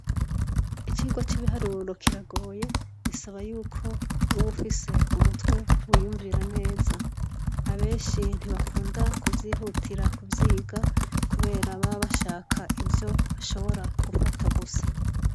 Icigwa c'ibiharuro kiragoye bisaba yuko uba ufise umutwe wiyumvira neza abenshi ntibakunda kuvyihutira kuvyiga kubera baba bashaka ivyo bashobora gufata gusa.